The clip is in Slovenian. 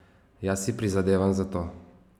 Jaz si prizadevam za to.